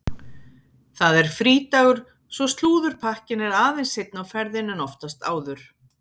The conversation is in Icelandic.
Það er frídagur svo slúðurpakkinn er aðeins seinna á ferðinni en oftast áður.